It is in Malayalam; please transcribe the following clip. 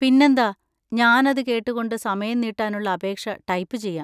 പിന്നെന്താ, ഞാനത് കേട്ടുകൊണ്ട് സമയം നീട്ടാനുള്ള അപേക്ഷ ടൈപ്പ് ചെയ്യാം.